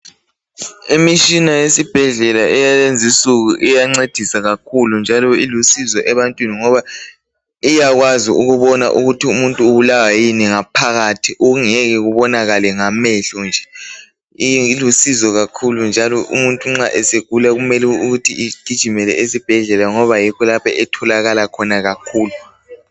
Imishina yesibhedlela eyalezinsuku iyancedisa kakhulu njalo ilusizo ebantwini ngoba iyakwazi ukubona ukuthi umuntu ubulawa yini ngaphakathi okungeke kubonakale ngamehlo nje ilusizo kakhulu njalo umuntu nxa esegula kumele ukuthi igijimele esibhedlela ngoba yikho lapho etholakala khona kakhulu.